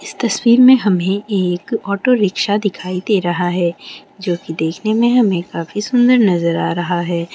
इस तस्वीर में हमे एक ऑटो रिक्शा दिखाई दे रहा है जो की देखने में हमे काफी सुंदर नजर आ रहा है।